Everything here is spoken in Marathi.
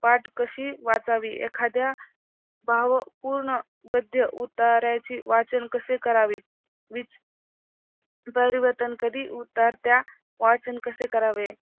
पाठ कशी वाचावी, एखाद्या भावपूर्ण गद्य उताऱ्याचे वाचन कसे करावे कधी उतरत्या वाचन कसे करावे